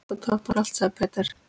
Þetta toppar allt, sagði Peter.